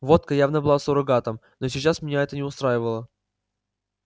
водка явно была суррогатом но сейчас меня это не устраивало